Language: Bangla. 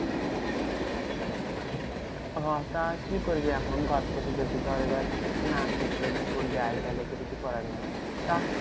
হ্যাঁ তা কি করবি এখন? ঘর থেকে যদি ধর এবার না করতে বলে দেয় তাহলে তো কিছু করার নেই। তা